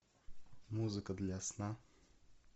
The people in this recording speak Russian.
музыка для сна